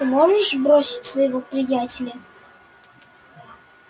ты можешь бросить своего приятеля